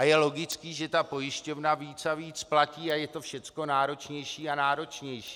A je logické, že ta pojišťovna víc a víc platí a je to všecko náročnější a náročnější.